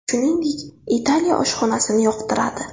Shuningdek, Italiya oshxonasini yoqtiradi.